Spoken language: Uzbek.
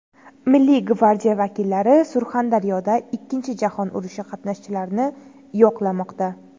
Milliy gvardiya vakillari Surxondaryoda Ikkinchi jahon urushi qatnashchilarini yo‘qlamoqda.